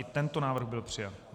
I tento návrh byl přijat.